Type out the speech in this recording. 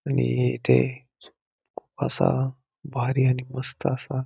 आणि हे येथे असा भारी आणि मस्त असा--